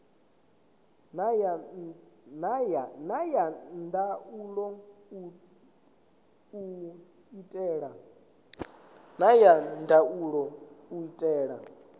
na ya ndaulo u itela